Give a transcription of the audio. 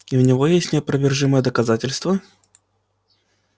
и у него есть неопровержимые доказательства